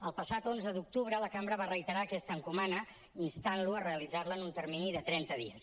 el passat onze d’octubre la cambra va reiterar aquesta encomanda instant lo a realitzar la en un termini de trenta dies